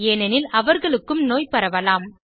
ஏனெனில் அவர்களுக்கும் நோய் பரவலாம்